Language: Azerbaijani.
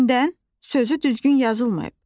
Gündən sözü düzgün yazılmayıb.